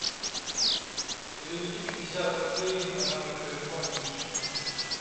переведи пятьдесят рублей на номер телефона миши